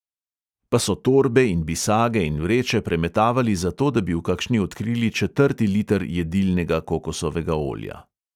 Pa so torbe in bisage in vreče premetavali zato, da bi v kakšni odkrili četrti liter jedilnega kokosovega olja.